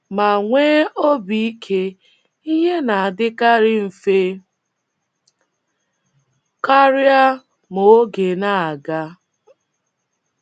Ma nwee obi ike, ihe na - adịkarị mfe karịa ma oge na - aga. um